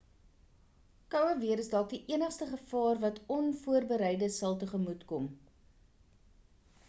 koue weer is dalk die enigste gevaar wat onvoorbereides sal tegemoetkom